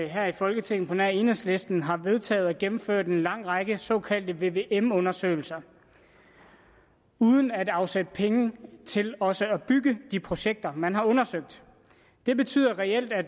her i folketinget på nær enhedslisten har vedtaget og gennemført en lang række såkaldte vvm undersøgelser uden at afsætte penge til også at bygge de projekter man har undersøgt det betyder reelt at